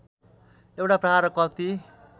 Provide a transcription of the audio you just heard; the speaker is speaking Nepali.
एउटा प्रहार कति